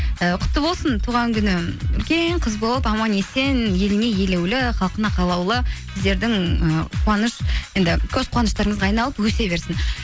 ыыы құтты болсын туған күні үлкен қыз болып аман есен еліне елеулі халқына қалаулы сіздердің ііі қуаныш енді көз қуныштарыңызға айналып өсе берсін